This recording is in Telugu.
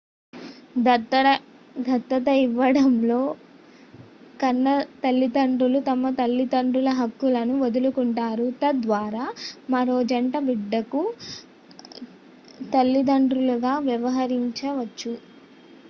దత్తత ఇవ్వడంలో కన్న తల్లిదండ్రులు తమ తల్లిదండ్రుల హక్కులను వదులుకుంటారు తద్వారా మరో జంట బిడ్డకు తల్లిదండ్రులుగా వ్యవహరించవచ్చు